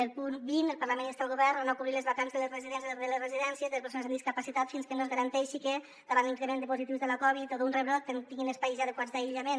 el punt vint el parlament insta el govern a no cobrir les vacants de les residències de persones amb discapacitat fins que no es garanteixi que davant l’increment de positius de la covid o d’un rebrot tinguin espais adequats d’aïllament